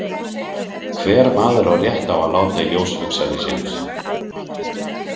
Hver maður á rétt á að láta í ljós hugsanir sínar.